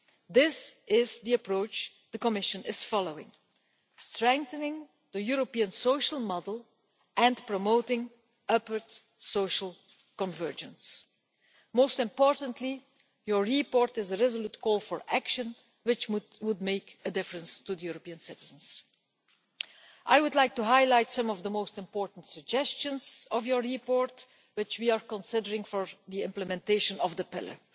This is the approach the Commission is following strengthening the European social model and promoting upward social convergence. Most importantly, your report is a resolute call for action which would make a difference to European citizens. I would like to highlight some of the most important suggestions in your report, which we are considering for the implementation of the Pillar.